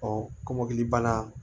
Ɔ kɔmɔkili bana